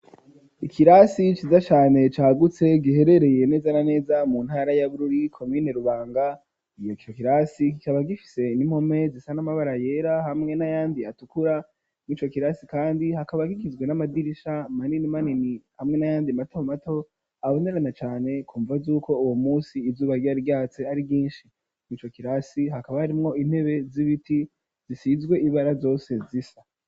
Ikirasi ciza cane cagutse giherereye neza na neza mu ntara ya Bururi komune Rubanga ico kirasi kikaba gifise n'impome zisa n'amabara yera hamwe n'ayandi atukura murico kirasi kandi hakaba kigizwe n'amadirisha manini manini hamwe n'ayandi mato mato abonerana cane kumvo zuko uwo musi izuba ryira ryatse ari ryishi murico kirasi hakaba harimwo intebe z'ibiti zisizwe ibara zose zisa